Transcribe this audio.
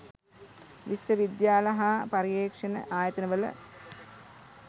විශ්ව විද්‍යාල හා පර්යේෂණ ආයතනවල